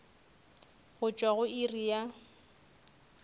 go tšwa go iri ya